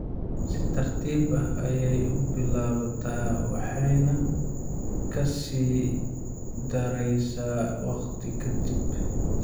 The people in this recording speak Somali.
Si tartiib ah ayey u bilaabataa waxayna ka sii daraysaa wakhti ka dib.